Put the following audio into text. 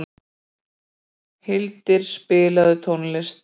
Hildir, spilaðu tónlist.